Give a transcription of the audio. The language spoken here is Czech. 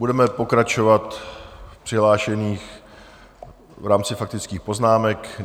Budeme pokračovat v přihlášených v rámci faktických poznámek.